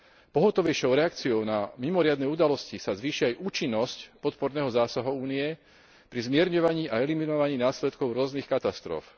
Pohotovejšou reakciou na mimoriadne udalosti sa zvýši aj účinnosť podporného zásahu Únie pri zmierňovaní a eliminovaní následkov rôznych katastrof.